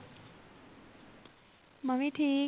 ਮੈਂ ਵੀ ਠੀਕ